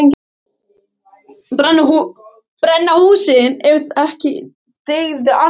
Brenna húsin ef ekki dygði annað.